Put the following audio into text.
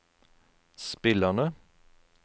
spillerne